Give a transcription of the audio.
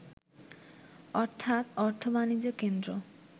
অর্থাৎ অর্থ-বাণিজ্যের কেন্দ্র